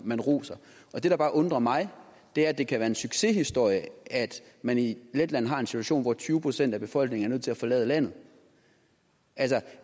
man roser og det der bare undrer mig er at det kan være en succeshistorie at man i letland har en situation hvor tyve procent af befolkningen er nødt til at forlade landet altså